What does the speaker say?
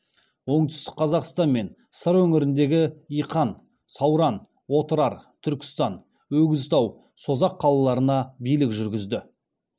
оңтүстік қазақстан мен сыр өңіріндегі иқан сауран отырар түркістан өгізтау созақ қалаларына билік жүргізді